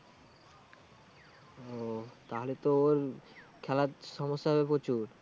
ও তাহলে তো ওর খেলার সমস্যা হবে প্রচুর।